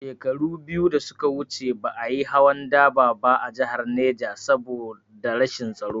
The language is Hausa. Shekaru biyu da suka wuce ba a yi hawan dubar ba a jihar Neja saboda rashin tsaro